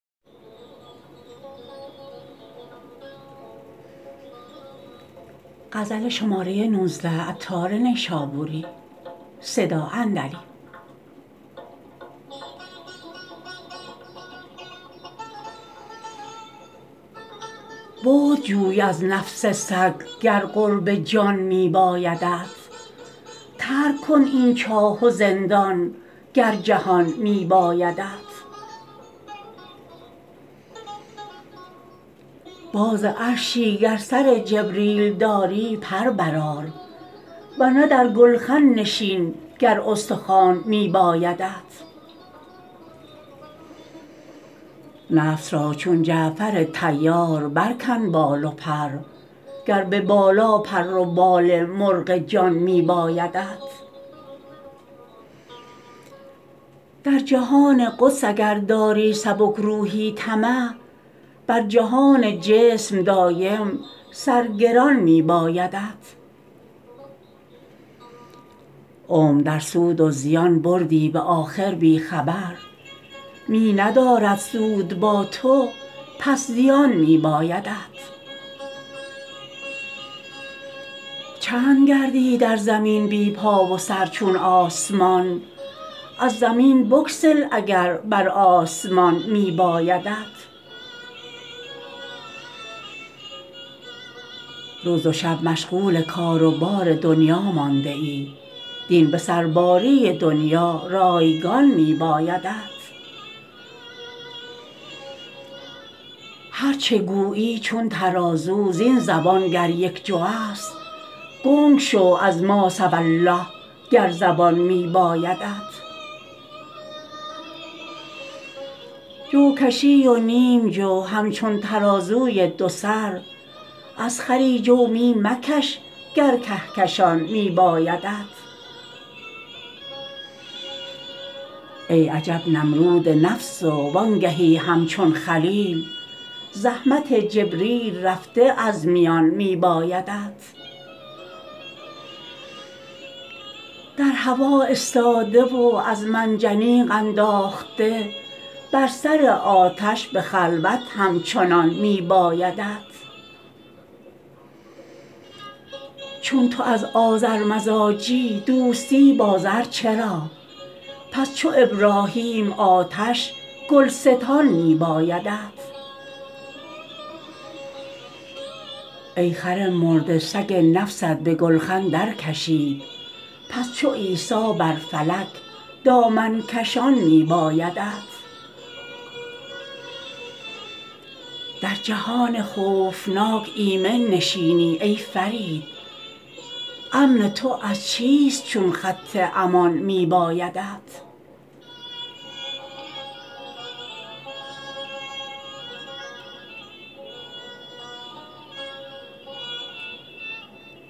بعد جوی از نفس سگ گر قرب جان می بایدت ترک کن این چاه و زندان گر جهان می بایدت باز عرشی گر سر جبریل داری پر برآر ورنه در گلخن نشین گر استخوان می بایدت نفس را چون جعفر طیار برکن بال و پر گر به بالا پر و بال مرغ جان می بایدت در جهان قدس اگر داری سبک روحی طمع بر جهان جسم دایم سر گران می بایدت عمر در سود و زیان بردی به آخر بی خبر می ندارد سود با تو پس زیان می بایدت چند گردی در زمین بی پا و سر چون آسمان از زمین بگسل اگر بر آسمان می بایدت روز و شب مشغول کار و بار دنیا مانده ای دین به سرباری دنیا رایگان می بایدت هرچه گویی چون ترازو زین زبان گر یک جو است گنگ شو از ما سوی الله گر زبان می بایدت جو کشی و نیم جو همچون ترازوی دو سر از خری جو می مکش گر کهکشان می بایدت ای عجب نمرود نفس و وانگهی همچون خلیل زحمت جبریل رفته از میان می بایدت در هوا استاده و از منجنیق انداخته بر سر آتش به خلوت همچنان می بایدت چون تو از آذر مزاجی دوستی با زر چرا پس چو ابراهیم آتش گلستان می بایدت ای خر مرده سگ نفست به گلخن در کشید پس چو عیسی بر فلک دامن کشان می بایدت در جهان خوفناک ایمن نشینی ای فرید امن تو از چیست چون خط امان می بایدت